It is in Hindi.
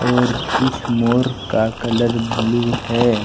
और इस मोर का कलर ब्लू है।